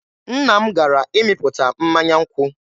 Nna m gara ịmịpụta mmanya nkwụ.